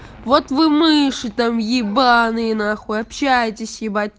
вот вы мыши там ебанные нахуй общаетесь ебать